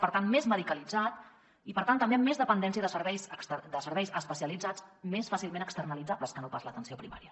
per tant més medicalitzat i per tant també amb més dependència de serveis especialitzats més fàcilment externalitzables que no pas l’atenció primària